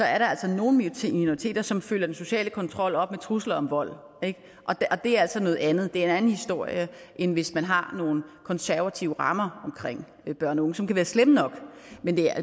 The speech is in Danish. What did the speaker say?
er nogle minoriteter som følger den sociale kontrol op med trusler om vold og det er altså noget andet det er en anden historie end hvis man har nogle konservative rammer omkring børn og unge som kan være slemme nok